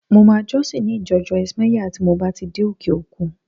Mo máa jọ́sìn ní ìjọ Joyce Meyer tí mo bá ti dé òkè-òkun